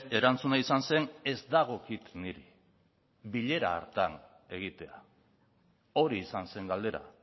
erantzuna izan zen ez dagokit niri bilera hartan egitea hori izan zen galdera